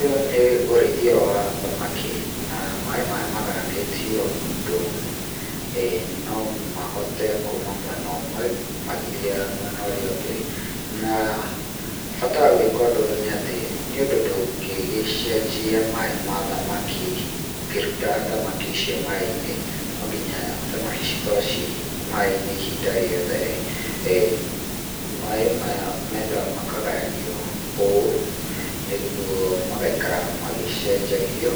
Ũyũ nĩ ũrĩithia wa thamaki, na maĩ maya magayanĩtio ũndũ no mahote kuuma mwena ũmwe magethiaga mwĩna ũrĩa ũngĩ, na bata wa gwĩka ũndũ ũyũ nĩ atĩ nĩ undo ndũgĩgĩcenjia maĩ ma thamaki ũkĩruta thamaki icio maĩ-inĩ, no nginya thamaki cikorwo ci maĩ-inĩ ihinda rĩothe, maĩ maya menda makagayanio ũũ nĩguo magaikara magĩcenjagio